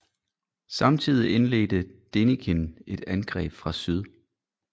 Samtidig indledte Denikin et angreb fra syd